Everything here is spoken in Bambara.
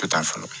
fɔlɔ